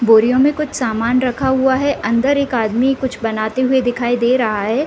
बोरियो में कुछ सामान रखा हुआ है | अन्दर एक आदमी कुछ बनाते हुए दिखाई दे रहा है ।